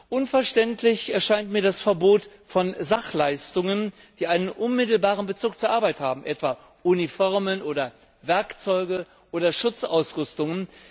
Unverständlich erscheint mir das Verbot von Sachleistungen, die einen unmittelbaren Bezug zur Arbeit haben etwa Uniformen oder Werkzeuge oder Schutzausrüstungen.